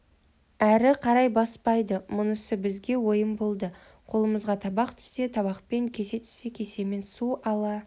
әрі қарай баспайды мұнысы бізге ойын болды қолымызға табақ түссе табақпен кесе түссе кесемен су ала